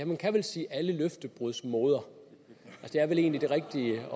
man kan vel sige alle løftebruds moder det er vel egentlig det rigtige